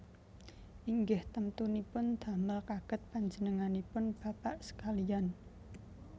Inggih temtunipun damel kagèt panjenenganipun bapak sekaliyan